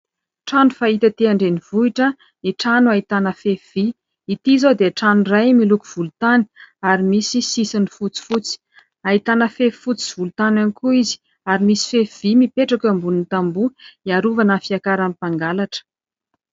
Trano fahita etỳ an-drenivohitra ny trano ahitana fefy vy. Ity izao dia trano iray miloko volontany ary misy sisiny fotsifotsy. Ahitana fefy fotsy sy volontany ihany koa izy ary misy fefy vy mipetraka eo ambonin'ny tamboho, hiarovana ny fiakaran'ny mpangalatra.